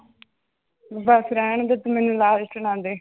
ਬਸ ਰਹਿਣਦੇ ਤੂੰ ਮੈਨੂੰ ਲਾਲਚ ਨਾ ਦੇ।